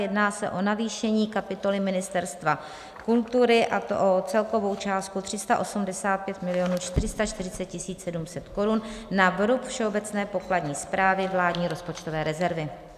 Jedná se o navýšení kapitoly Ministerstva kultury, a to o celkovou částku 385 440 700 korun na vrub Všeobecné pokladní správy, vládní rozpočtové rezervy.